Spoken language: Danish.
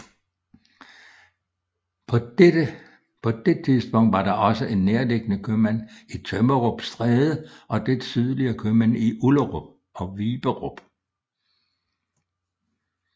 På det tidspunkt var der også en nærliggende købmand i Tømmerup Stræde og lidt sydligere købmænd i Ullerup og Viberup